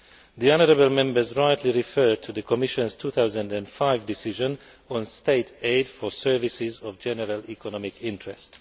The honourable Members rightly refer to the Commission's 2005 decision on State aid for services of general economic interest.